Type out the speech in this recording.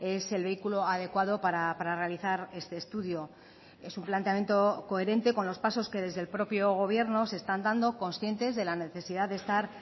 es el vehículo adecuado para realizar este estudio es un planteamiento coherente con los pasos que desde el propio gobierno se están dando conscientes de la necesidad de estar